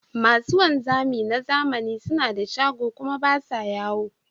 Masu wanzami na zamani suna da shago kuma ba sa yawo.